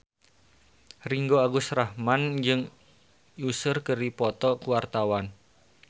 Ringgo Agus Rahman jeung Usher keur dipoto ku wartawan